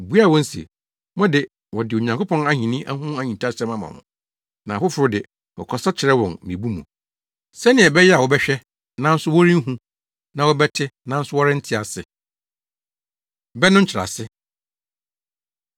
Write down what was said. obuaa wɔn se, “Mo de, wɔde Onyankopɔn Ahenni ho ahintasɛm ama mo, na afoforo de, wɔkasa kyerɛ wɔn mmebu mu, “ ‘sɛnea ɛbɛyɛ a wɔbɛhwɛ, nanso wɔrenhu na wɔbɛte, nanso wɔrente ase.’ Bɛ No Nkyerɛase